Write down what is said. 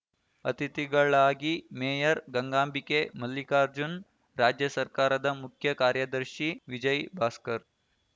ಅತಿಥಿಗಳಾಗಿ ಮೇಯರ್‌ ಗಂಗಾಬಿಕೆ ಮಲ್ಲಿಕಾರ್ಜುನ್‌ ರಾಜ್ಯ ಸರ್ಕಾರದ ಮುಖ್ಯ ಕಾರ್ಯದರ್ಶಿ ವಿಜಯ್‌ ಭಾಸ್ಕರ್‌